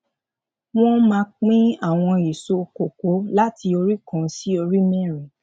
wón máa pín àwọn èso kọkó láti orí kan sí orí mérin